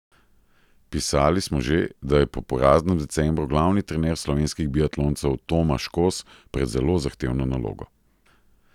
Pisali smo že, da je po poraznem decembru glavni trener slovenskih biatloncev Tomaš Kos pred zelo zahtevno nalogo.